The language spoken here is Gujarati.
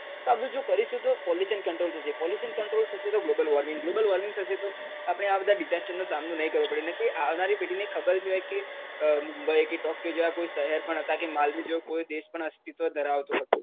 તો બધું જો કરીશું તો pollution control થશે pollution control થશે તો global warming global warming થશે તો આપણે આ બધાં disaster નો સામનો નઈ કરવો પડે નઈ તો આવનારી પેઢીને ખબર જ નઈ હોય કે મુંબઈ કે ટોક્યો જેવાં કોઈ શહેર પણ હતાં કે માલદીવ જેવો કોઈ દેશ પણ અસ્તિત્વ ધરાવતો હતો.